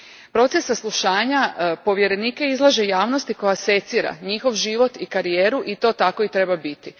Proces saslušanja povjerenike izlaže javnosti koja secira njihov život i karijeru i to tako i treba biti.